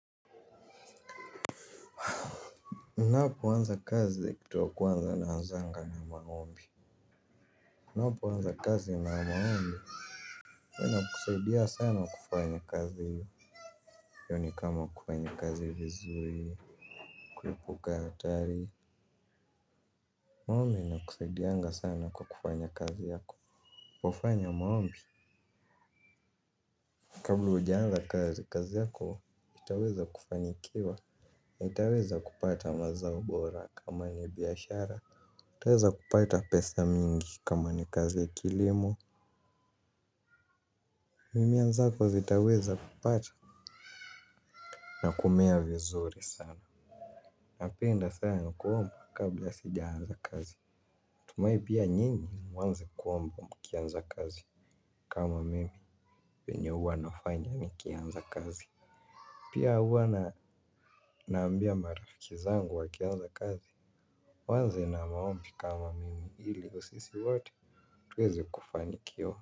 Napoanza kazi kitu ya kwanza naanzanga na maombi. Napaanza kazi na maombi uwa inakusaidia sana kufanya kazi hiyo. Yoni kama kufanya kazi vizuri. Kuepuka atari. Maombi ina kusaidia sana kwa kufanya kazi yako. Kufanya maombi. Kabla ujaanza kazi kazi yako itaweza kufanikiwa. Itaweza kupata mazao bora kama ni biashara. Taweza kupata pesa mingi kama ni kazi ya kilimo. Mimea zako zitaweza kupata na kumea vizuri sana. Napenda sana kuomba kabla sijaanza kazi. Tumai pia nyini mwanze kuomba mkianza kazi. Kama mimi venye uwa nafanya nikianza kazi. Pia uwa naambia marafikizangu wa kianza kazi. Mwanze na maompi kama mimi ili sisi wote tuweze kufanikiwa.